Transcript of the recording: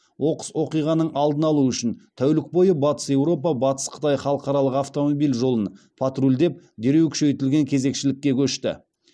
оқыс оқиғаның алдын алу үшін тәулік бойы батыс еуропа батыс қытай халықаралық автомобиль жолын патрульдеп дереу күшейтілген кезекшілікке көшті